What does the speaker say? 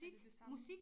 Er det det samme